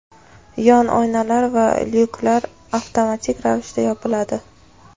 yon oynalar va lyuklar avtomatik ravishda yopiladi.